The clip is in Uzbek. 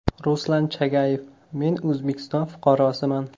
Ruslan Chagayev: Men O‘zbekiston fuqarosiman.